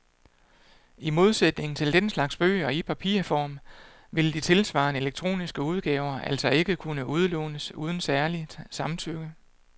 I modsætning til den slags bøger i papirform vil de tilsvarende elektroniske udgaver altså ikke kunne udlånes uden særligt samtykke.